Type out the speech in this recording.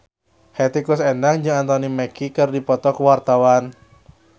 Hetty Koes Endang jeung Anthony Mackie keur dipoto ku wartawan